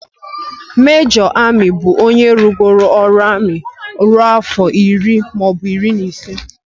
Mejọr amị bụ onye rụgoro ọrụ amị ruo afọ iri maọbụ iri na ise